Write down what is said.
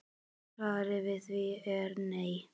Svarið við því er nei.